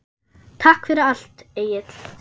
Takk fyrir allt, Egill.